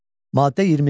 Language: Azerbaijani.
Maddə 25.